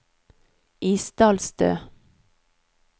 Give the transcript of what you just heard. Isdalstø